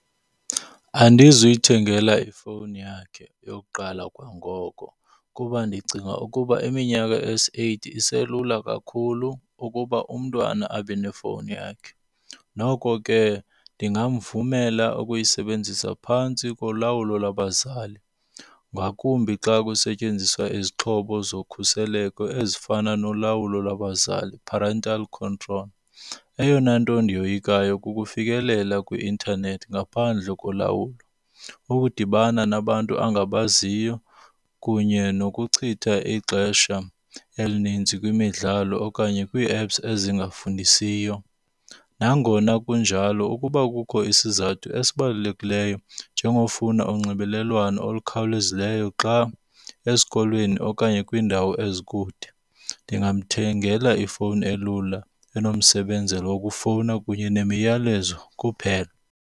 Andizuyithengela ifowuni yakhe yokuqala kwangoko kuba ndicinga ukuba iminyaka esi-eight iselula kakhulu ukuba umntwana abe nefowuni yakhe. Noko ke ndingamvumela ukuyisebenzisa phantsi kolawulo lwabazali, ngakumbi xa kusetyenziswa izixhobo zokhuseleko ezifana nolawulo lwabazali, parental control. Eyona nto ndiyoyikayo kukufikelela kwi-intanethi ngaphandle kolawulo. Ukudibana nabantu angabaziyo kunye nokuchitha ixesha elininzi kwimidlalo okanye kwii-apps ezingafundisiyo. Nangona kunjalo ukuba kukho isizathu esibalulekileyo njengofuna unxibelelwano olukhawulezileyo xa esikolweni okanye kwiindawo ezikude, ndingamthengela ifowuni elula, enomsebenzele wokufowuna kunye nemiyalezo kuphela.